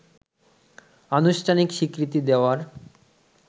আনুষ্ঠানিক স্বীকৃতি দেওয়ার